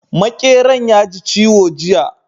Maƙeran ya ji ciwo jiya